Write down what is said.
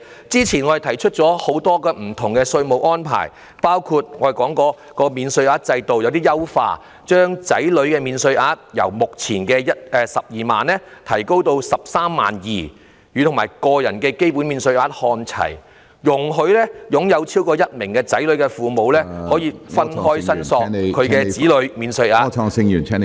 早前我們提出了很多不同的稅務安排，包括優化免稅額，把子女免稅額由目前的 120,000 元提升至 132,000 元，與個人基本免稅額看齊；容許擁有超過1名子女的父母分開申索子女免稅額......